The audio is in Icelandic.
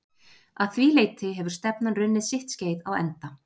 Að því leyti hefur stefnan runnið sitt skeið á enda.